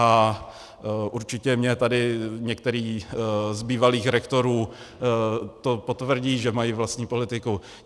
A určitě mi tady některý z bývalých rektorů to potvrdí, že mají vlastní politiku.